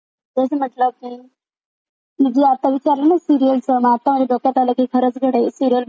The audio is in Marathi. तु जी आता विचारलीस सीरिअलच मग आता माझ्या डोक्यात आलं खरंच गड्या सीरिअल बघिल्यावर रोज थोडं थोडासा इंटरटेन होईल.